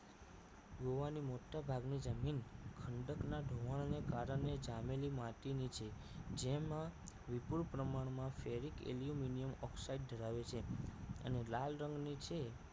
ગોવાની મોટાભાગની જમીન ખંડકના ધોવાણ અને ગારાની જામેલી માટીની છે જેમાં વિપુલ પ્રમાણમાં firik aluminium okside ધરાવે છે અને લાલ રંગની છે